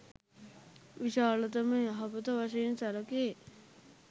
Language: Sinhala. විශාලතම යහපත වශයෙන් සැලකේ.